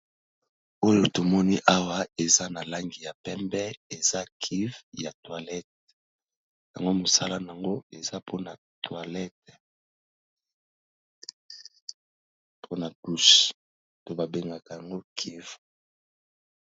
Oyo to moni awa eza na langi ya pembe, eza cuve ya toilette . Yango mosala n'ango eza po na toilette, po na douche, oyo ba bengaka yango cuve .